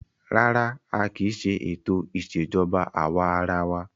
Rárá, a kì í ṣe ètò ìṣèjọba àwa arawa.